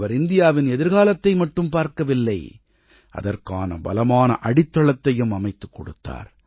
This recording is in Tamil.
அவர் இந்தியாவின் எதிர்காலத்தை மட்டும் பார்க்கவில்லை அதற்கான பலமான அடித்தளத்தையும் அமைத்துக் கொடுத்தார்